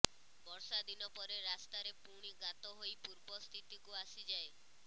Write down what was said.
ବର୍ଷା ଦିନ ପରେ ରାସ୍ତାରେ ପୁଣି ଗାତହୋଇ ପୂର୍ବ ସ୍ଥିତିକୁ ଆସିଯାଏ